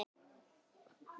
Hafa þeir aldrei verið fleiri.